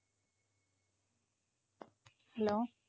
hello